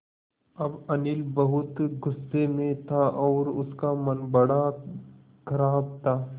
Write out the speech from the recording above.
अब अनिल बहुत गु़स्से में था और उसका मन बड़ा ख़राब था